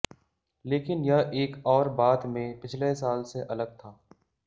लेकिन यह एक और बात में पिछले साल से अलग था